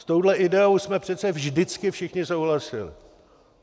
S touhle ideou jsme přece vždycky všichni souhlasili.